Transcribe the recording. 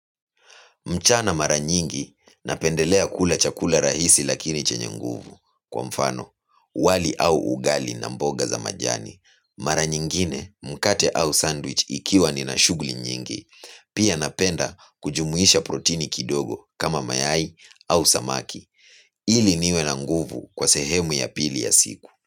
Mchana mara nyingi napendelea kula chakula rahisi lakini chenye nguvu kwa mfano wali au ugali na mboga za majani. Mara nyingine mkate au sandwich ikiwa nina shughuli nyingi. Pia napenda kujumuisha protini kidogo kama mayai au samaki. Ili niwe na nguvu kwa sehemu ya pili ya siku.